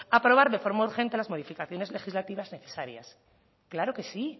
aprobar de forma urgente las modificaciones legislativas necesarias claro que sí